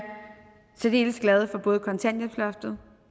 særdeles glade for både kontanthjælpsloftet